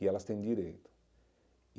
E elas têm direito.